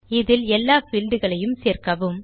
இதில் எல்லா பீல்ட் களையும் சேர்க்கவும்